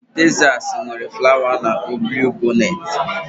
Tezasi nwere flawa a na-akpọ bluwibọnet